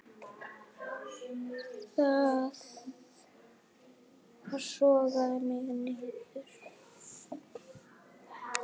Það sogaði mig niður.